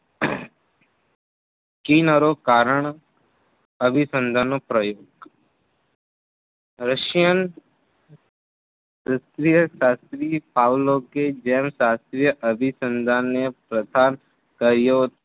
કિનરો કારણ અભીસંધાનનો પ્રયોગ રશિયન શાસ્ત્રી પાવલોકે ગેન શાસ્ત્રીઓ અભીસંધાનો પ્રથા કયો